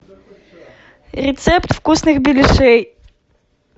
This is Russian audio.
рецепт вкусных беляшей